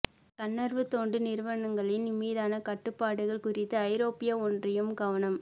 தன்னார்வ தொண்டு நிறுவனங்களின் மீதான கட்டுப்பாடுகள் குறித்து ஐரோப்பிய ஒன்றியம் கவனம்